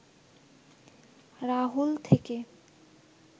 রাহুল থেকে